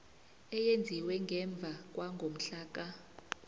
eyenziwe ngemva kwangomhlaka